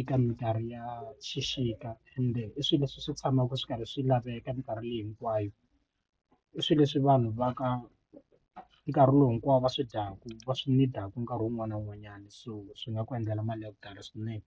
eka minkarhi ya xixika ende i swilo leswi swi tshamaka swi karhi swi laveka minkarhi leyi hinkwayo i swilo leswi vanhu va ka nkarhi lowu hinkwawo va swi dyaka va swi nkarhi wun'wana na wun'wanyana so swi nga ku endlela mali ya ku tala swinene.